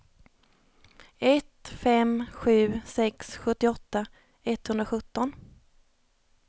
ett fem sju sex sjuttioåtta etthundrasjutton